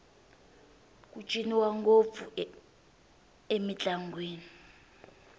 ku ciniwa ngopfu mintlangwini